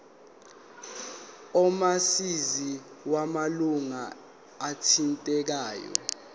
omazisi wamalunga athintekayo